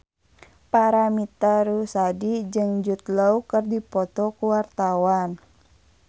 Paramitha Rusady jeung Jude Law keur dipoto ku wartawan